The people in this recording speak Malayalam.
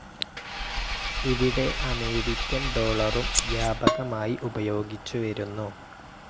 ഇവിടെ അമേരിക്കൻ ഡോളറും വ്യാപകമായി ഉപയോഗിച്ചുവരുന്നു.